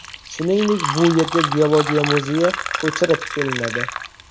Shuningdek, bu yerga Geologiya muzeyi ko‘chirib kelinadi.